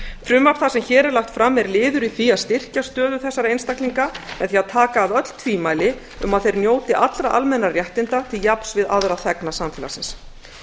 frumvarp það sem hér er lagt fram er liður í því að styrkja stöðu þessara einstaklinga með því að taka af öll tvímæli um að þeir njóti allra almennra réttinda til jafns við aðra þegna samfélagsins